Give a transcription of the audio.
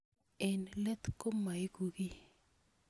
Eng' let ko maiku kiy